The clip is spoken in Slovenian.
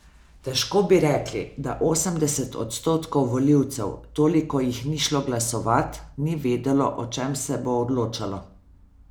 Težko bi rekli, da osemdeset odstotkov volivcev, toliko jih ni šlo glasovat, ni vedelo, o čem se bo odločalo.